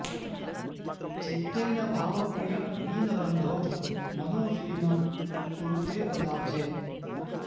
चित्तेन भावप्रिय दीनबन्धो मनो विलीनं कुरु ते पदाब्जे